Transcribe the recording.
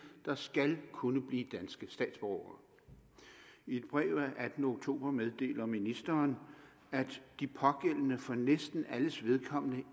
der skal kunne blive danske statsborgere i et brev af attende oktober meddeler ministeren at de pågældende for næsten alles vedkommende